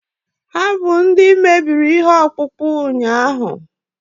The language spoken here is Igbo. ha bụ ndị mebiri ihe ọkpụkpụ ụnyahụ